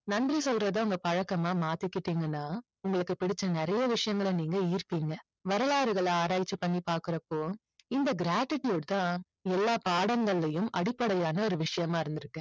நன்றி சொல்றது உங்க பழக்கமா மாத்திக்கிட்டீங்கன்னா உங்களுக்கு பிடிச்ச நிறைய விஷயங்களை நீங்க ஈர்ப்பிங்க. வரலாறுகளை ஆராய்ச்சி பண்ணி பாக்குறப்போ இந்த gratitude தான் எல்லா பாடங்களிலேயும் அடிப்படையான ஒரு விஷயமா இருந்திருக்கு.